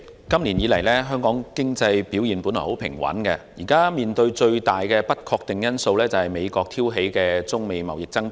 主席，香港經濟今年以來表現平穩，目前面對的最大不確定因素是美國挑起的中美貿易爭端。